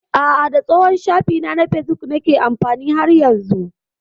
A'a, da tsohon shafina na facebook nake amfani har yanzu.